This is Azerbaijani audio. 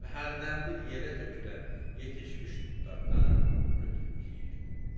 Və hərdənbir yerə tökülən yetişmiş tutlardan götürüb yeyirdi.